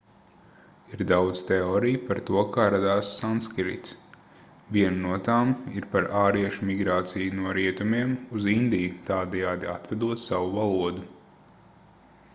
ir daudz teoriju par to kā radās sanskrits viena no tām ir par āriešu migrāciju no rietumiem uz indiju tādējādi atvedot savu valodu